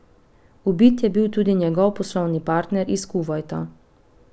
Ubit je bil tudi njegov poslovni partner iz Kuvajta.